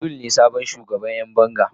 Abdul ne sabon shugaban Yan banga.